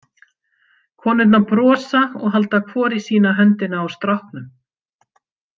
Konurnar brosa og halda hvor í sína höndina á stráknum.